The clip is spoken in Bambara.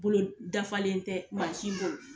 Bolo dafalen tɛ ma si bolo.